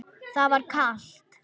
Það var kalt.